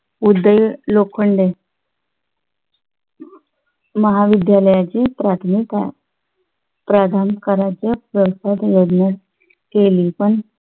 उदय लोखंडे महाविद्यालयाचे प्रधान करायचं योजना केली पण